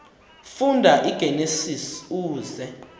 funda igenesis uze